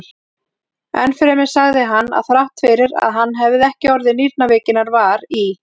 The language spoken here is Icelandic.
Enn fremur sagði hann, að þrátt fyrir að hann hefði ekki orðið nýrnaveikinnar var í